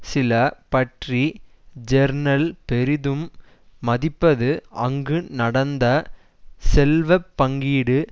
Chile பற்றி journal பெரிதும் மதிப்பது அங்கு நடந்த செல்வ பங்கீடு